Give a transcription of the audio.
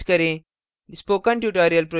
output की जाँच करें